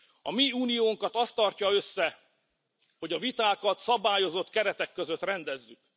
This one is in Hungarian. A mi uniónkat az tartja össze, hogy a vitákat szabályozott keretek között rendezzük.